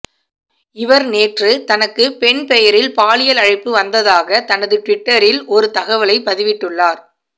இவர் நேற்று தனக்கு பெண் பெயரில் பாலியல் அழைப்பு வந்ததாக தனது ட்விட்டரில் ஒரு தகவலைப் பதிவிட்டுள்ளார்